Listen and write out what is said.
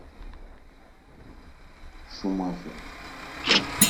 шумахер